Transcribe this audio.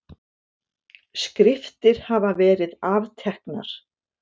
Skriftir hafa verið afteknar.